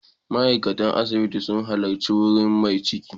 Ma'aikatan asibiti sun halarci wurin mai ciki.